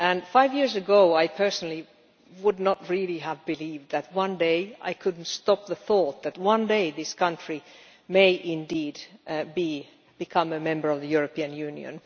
Five years ago I personally would not really have believed that one day I could not stop the thought this country may indeed become a member of the European Union.